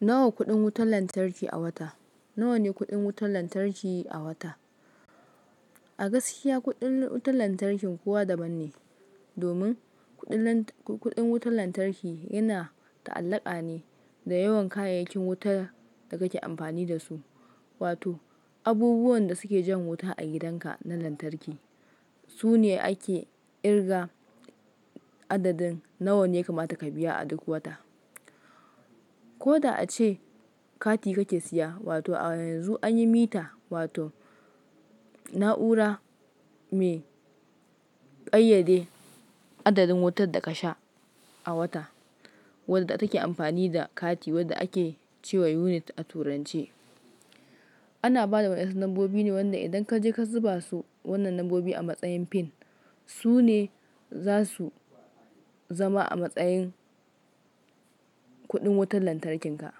Nawa kuɗin wutar lantarki a wata, nawa ne kuɗin wutar lantarki a wata? A gaskiya kuɗin wutar lantarkin kowa daban ne, domin kudin Lant, kudin wutan lantarki yana ta'allaka ne da yawan kayayyakin wuta da kake amfani da su, wato abubuwan da suke jan wuta a gidanka na lantarki. Su ne ake kirga adadin nawa ne ya kamata ka biya a duk wata. Ko da ace kati kake siya, wato a yanzu an yi mita wato na'ura mai ƙayyade adadin wutar da kasha a wata, wadda take amfani da kati wadda ake ce wa unit a turanche. Ana ba da waɗansu lambobi ne, wanda idan kaje ka zuba su wannan lambobin a matsayin pin, su ne za su zama a matsayin kuɗin wutar lantarkinka.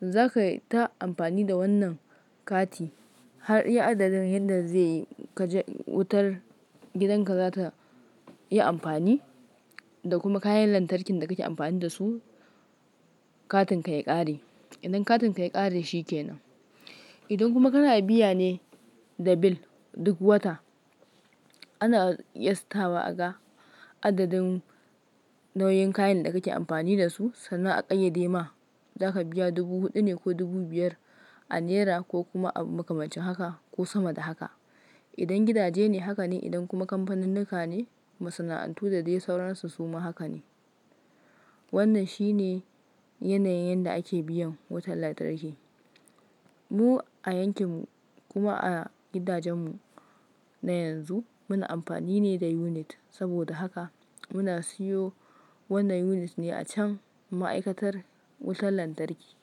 Za ka yi ta amfani da wannan kati har iya adadin yadda zai keje, wutar gidanka za ta iya amfani da kuma kayan lantarkin da kake amfani da su, katinka ya ƙare. Idan katinka ya ƙare shi ke nan. Idan kuma kana biya ne da bill duk wata, ana yastawa aga adadin nau'in kayan da kake amfani da su, sannan a ƙayyade ma za ka biya dubu huɗu ne ko dubu biyar a nera ko kuma a makamashi haka ko sama da haka. Idan gidaje ne haka ne, idan kuma kamfanunnuka ne, masana'antu da dai sauransu su ma haka ne. Wannan shi ne yanayin yadda ake biyan wutar lantarki. Mu a yankinmu kuma a gidajenmu na yanzu muna amfani ne da unit. Saboda haka muna siyo wannan unit ne a can ma'aikatar wutar lantarki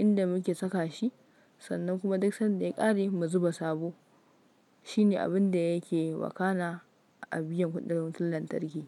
inda muke saka shi sannan kuma duk sanda ya ƙare mu zuba sabo. Shi ne abin da yake wakanna abiyan kudin lantarki.